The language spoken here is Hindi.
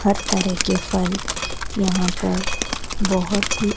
हर तरह के फल यहां पर बोहोत ही--